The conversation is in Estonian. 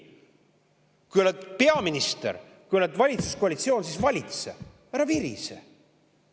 Kui oled peaminister, kui oled valitsuskoalitsioonis, siis valitse, mitte ära virise.